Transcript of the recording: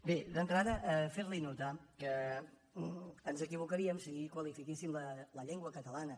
bé d’entrada fer li notar que ens equivocaríem si qualifiquéssim la llengua catalana